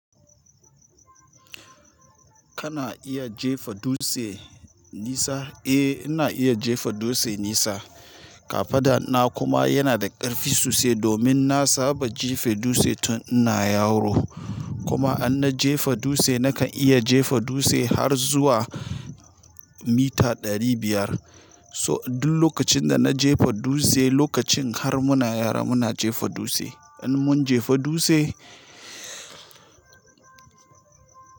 Kana iya jefa dutse nisa? Eh ina iya jefa dutse nisa. Kafada na kuma yana da ƙarfi sosai domin na saba jefe dutse tun ina yaro. Kuma in na jefa dutse nakan iya jefa dutse har zuwa mita ɗari biyar. So duk lokacin da na jefa dutse lokacin har muna yara muna jefa dutse. In mun jefa dutse.